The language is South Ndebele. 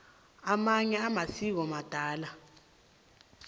amanye amasiko madala